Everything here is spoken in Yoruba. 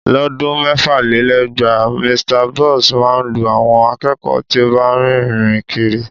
Lọ́dún mẹ́fàlélẹ́gbàá, Mr Boss máa ń lu àwọn akẹ́kọ̀ọ́ tí ó bá ń rìn kiri